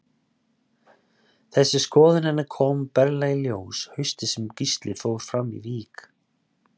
Þessi skoðun hennar kom berlega í ljós haustið sem Gísli fór fram í vík.